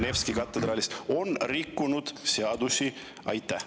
… või Nevski katedraalist on rikkunud seadusi?